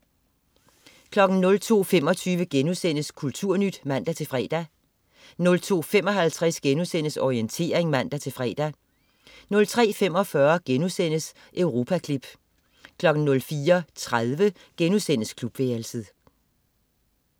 02.25 Kulturnyt* (man-fre) 02.55 Orientering* (man-fre) 03.45 Europaklip* 04.30 Klubværelset*